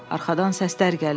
Arxadan səslər gəlirdi.